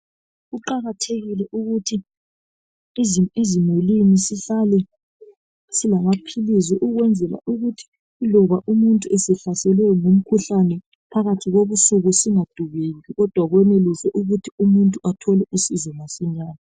Kuqakathekile ukuthi ezimulwini isahlale silamaphilisi ukwenzela ukuthi loba umuntu esehlaselwe ngumkhuhlane phakathi kobusuku singadubeki kodwa kwenelise ukuthi umuntu athole usizo masinyane.